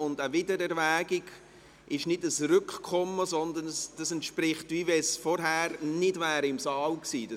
Eine Wiedererwägung ist kein Rückkommen, sondern es ist so, wie wenn das Geschäft vorher nicht im Saal gewesen wäre.